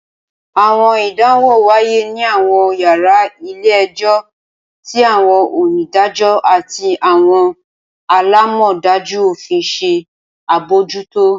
Awọn idanwo waye ni awọn yara ile-ẹjọ, ti awọn onidajọ ati awọn alamọdaju ofin ṣe abojuto.